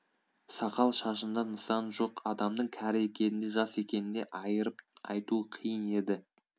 сақал-шашында нысан жоқ адамның кәрі екенін де жас екенін де айырып айту қиын еді